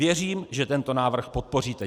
Věřím, že tento návrh podpoříte.